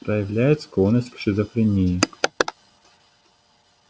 проявляет склонность к шизофрении